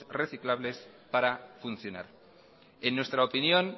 reciclajes para funcionar en nuestra opinión